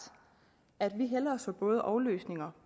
at vi hellere så både og løsninger